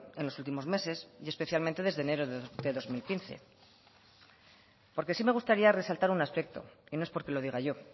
en los últimos meses y especialmente desde enero de dos mil quince porque sí me gustaría resaltar un aspecto y no es porque lo diga yo